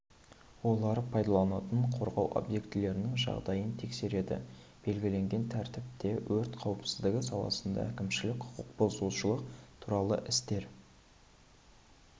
олар пайдаланатын қорғау объектілерінің жағдайын тексереді белгіленген тәртіпте өрт қауіпсіздігі саласында әкімшілік құқық бұзушылық туралы істер